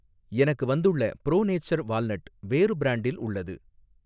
எனக்கு வந்துள்ள pro nature walnut வேறு பிரான்டில் உள்ளது